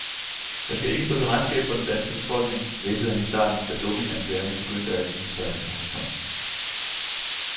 Jeg skal ikke stå til regnskab for den danske befolkning hvæsede han i starten, da dopinganklagerne begyndte at vise sig i horisonten.